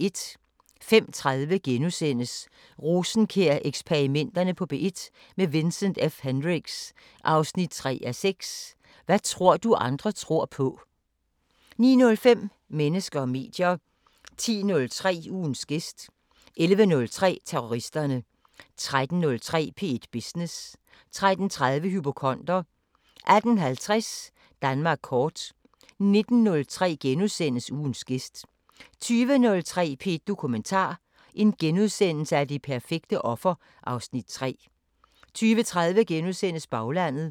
05:30: Rosenkjær-eksperimenterne på P1 – med Vincent F Hendricks: 3:6 Hvad tror du andre tror på? * 09:05: Mennesker og medier 10:03: Ugens gæst 11:03: Terroristerne 13:03: P1 Business 13:30: Hypokonder 18:50: Danmark kort 19:03: Ugens gæst * 20:03: P1 Dokumentar: Det perfekte offer (Afs. 3)* 20:30: Baglandet *